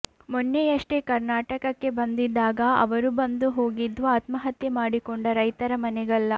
ಮೊನ್ನೆಯಷ್ಟೇ ಕರ್ನಾಟಕಕ್ಕೆ ಬಂದಿದ್ದಾಗ ಅವರು ಬಂದು ಹೋಗಿದ್ದು ಆತ್ಮಹತ್ಯೆ ಮಾಡಿಕೊಂಡ ರೈತರ ಮನೆಗಲ್ಲ